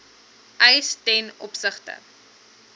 eis ten opsigte